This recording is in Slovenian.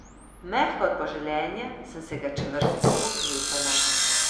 Mehka od poželenja sem se ga čvrsto oklepala.